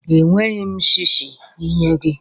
Enweghị m shishi inye gị.